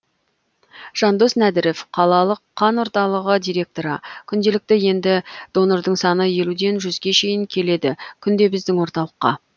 жандос нәдіров қалалық қан орталығы директоры күнделікті енді донордың саны елуден жүзге шейін келеді күнде біздің орталыққа